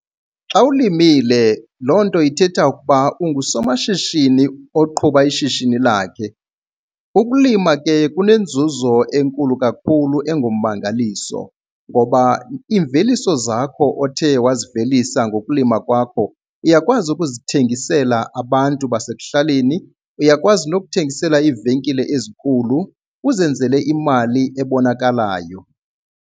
Xa ulimile loo nto ithetha ukuba ungusomashishini oqhuba ishishini lakhe. Ukulima ke kunenzuzo enkulu kakhulu engummangaliso ngoba iimveliso zakho othe wazivelisa ngokulima kwakho uyakwazi ukuzithengisela abantu basekuhlaleni, uyakwazi nokuthengisela iivenkile ezinkulu uzenzele imali ebonakalayo.